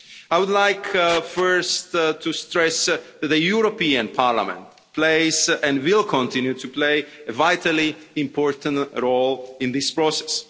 I would like first to stress that the European Parliament plays, and will continue to play, a vitally important role in this process.